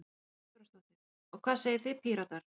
Kristjana Guðbrandsdóttir: Og hvað segið þið Píratar?